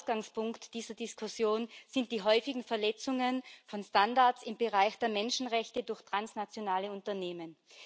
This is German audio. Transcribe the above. Ausgangspunkt dieser Diskussion sind die häufigen Verletzungen von Standards im Bereich der Menschenrechte durch transnationale Unternehmen.